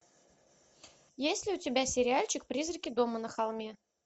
есть ли у тебя сериальчик призраки дома на холме